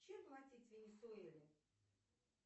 чем платить в венесуэле